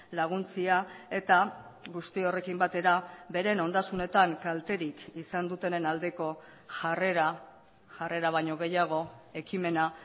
laguntzea eta guzti horrekin batera beren ondasunetan kalterik izan dutenen aldeko jarrera jarrera baino gehiago ekimena